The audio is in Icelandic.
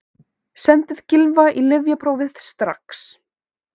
Sendið Gylfa í lyfjapróf strax!